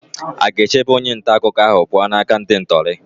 Aga-echebe onye nta akụkọ ahụ pụọ n'aka ndị ntọrọ?